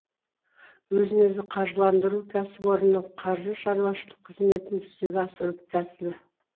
өзін өзі қаржыландыру кәсіпорынның қаржы шаруашылық қызметін жүзеге асыру тәсілі